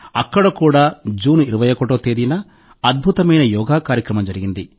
అక్కడ కూడా జూన్ 21వ తేదీన అద్భుతమైన యోగా కార్యక్రమం జరిగింది